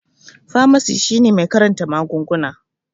Famasi shine mai karanta magunguna